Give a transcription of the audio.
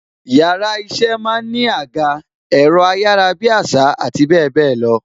Yàrá iṣẹ́ máa ń ní àga, ẹ̀rọ ayarabiasa àti bebelo.